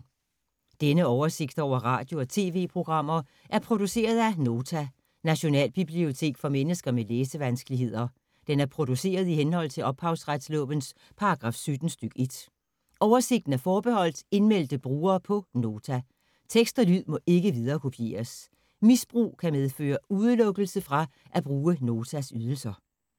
Denne oversigt over radio og TV-programmer er produceret af Nota, Nationalbibliotek for mennesker med læsevanskeligheder. Den er produceret i henhold til ophavsretslovens paragraf 17 stk. 1. Oversigten er forbeholdt indmeldte brugere på Nota. Tekst og lyd må ikke viderekopieres. Misbrug kan medføre udelukkelse fra at bruge Notas ydelser.